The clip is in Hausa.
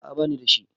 a a ba ni da shi